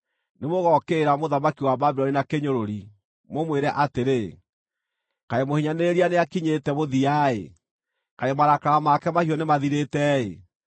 nĩmũgookĩrĩra mũthamaki wa Babuloni na kĩnyũrũri, mũmwĩre atĩrĩ: Kaĩ mũhinyanĩrĩria nĩakinyĩte mũthia-ĩ! Kaĩ marakara make mahiũ nĩmathirĩte-ĩ!